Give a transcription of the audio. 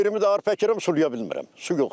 Yerimi də arpa əkirəm, sulaya bilmirəm.